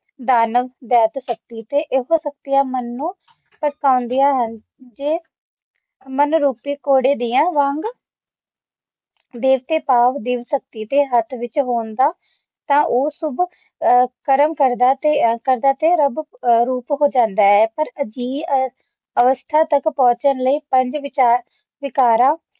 ਦੇਵਤੇ ਭਾਵ ਦੇਵ ਸ਼ਕਤੀ ਦੇ ਹੱਥ ਵਿੱਚ ਹੋਣ ਦਾ ਤਾ ਓਹ ਸ਼ੁਭ ਕਰਮ ਕਰਦਾ ਤੇ ਰਬ ਰੂਪ ਹੋ ਜਾਂਦਾ ਹੈ ਪਰ ਅਜਿਹੀ ਅਵਸਥਾ ਤਕ ਪਹੁਚਾਨ ਲਯੀ ਪੰਜ ਵਿਕਾਰਾ